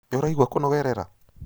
Nĩũraigua kũnogerera?